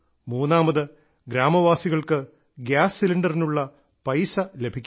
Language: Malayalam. മൂന്നാമത് ഗ്രാമവാസികൾക്ക് ഗ്യാസ് സിലിണ്ടറിനുള്ള പൈസ ലഭിക്കുന്നു